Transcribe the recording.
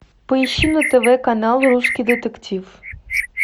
поищи на тв канал русский детектив